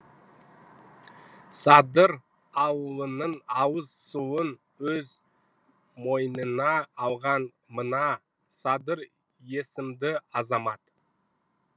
садыр ауылының ауыз суын өз мойнына алған мына садыр есімді азамат